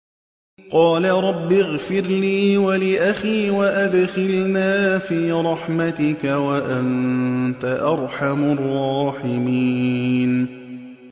قَالَ رَبِّ اغْفِرْ لِي وَلِأَخِي وَأَدْخِلْنَا فِي رَحْمَتِكَ ۖ وَأَنتَ أَرْحَمُ الرَّاحِمِينَ